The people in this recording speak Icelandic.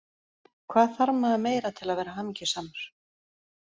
Hvað þarf maður meira til að vera hamingjusamur?